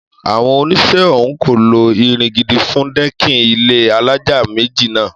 Àwọn onisẹ́ ọ̀hún kò lo irin gidi fún dẹ́kìnì ilé alájà méjì náà